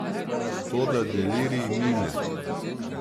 Toda delirij mine.